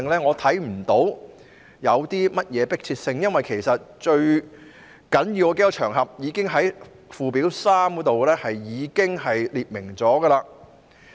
我看不到當中有何迫切性，因為最重要的那些場合已經在附表3列明。